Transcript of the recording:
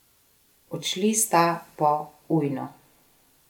Odšli sta po ujno.